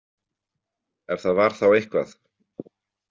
Ef það var þá eitthvað.